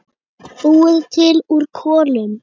Búið til úr kolum!